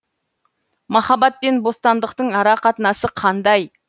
махаббатпен бостандықтың ара қатынасы қандай